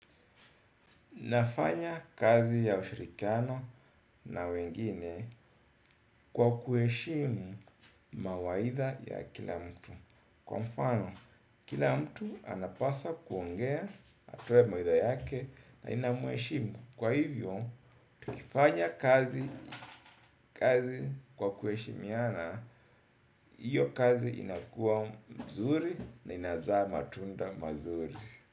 Nafanya kazi ya ushirikiano na wengine kwa kuheshimu mawaidha ya kila mtu. Kwa mfano, kila mtu anapasa kuongea atoe mawaidha yake na nina muheshimu. Kwa hivyo, tukifanya kazi kwa kuheshimiana hiyo kazi inakuwa mzuri na inazaa matunda mazuri.